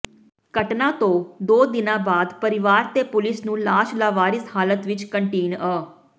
ਘਟਨਾ ਤੋਂ ਦੋ ਦਿਨਾਂ ਬਾਅਦ ਪਰਿਵਾਰ ਤੇ ਪੁਲਿਸ ਨੂੂੰ ਲਾਸ਼ ਲਾਵਾਰਿਸ ਹਾਲਤ ਵਿਚ ਕੰਟੀਨ ਅ